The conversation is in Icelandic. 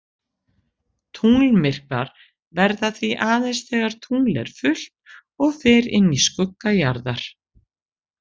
Tunglmyrkvar verða því aðeins þegar tungl er fullt og fer inn í skugga jarðar.